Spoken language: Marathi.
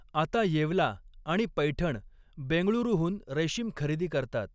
आता येवला आणि पैठण बेंगळुरूहून रेस्कीम खरेदी करतात.